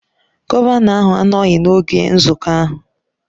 Gọvanọ ahụ anọghị n'oge nzukọ ahụ